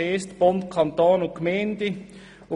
Bund, Kanton und Gemeinden.